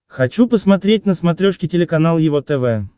хочу посмотреть на смотрешке телеканал его тв